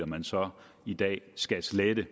man så i dag skal slettede